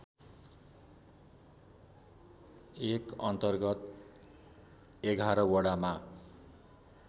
एकअन्तर्गत ११ वडामा